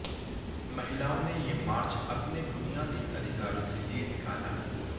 महिलाओं ने ये मार्च अपने बुनियादी अधिकारों के लिए निकाला